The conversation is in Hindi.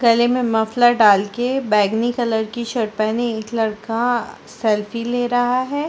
गले में मफलर डाल के बैगनी कलर की शर्ट पहने एक लड़का सेल्फी ले रहा हैं ।